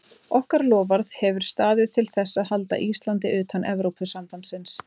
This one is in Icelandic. Okkar loforð hefur staðið til þess að halda Íslandi utan Evrópusambandsins.